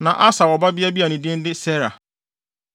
Na Aser wɔ ɔbabea bi a ne din de Sera.